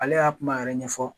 Ale y'a kuma yɛrɛ ɲɛfɔ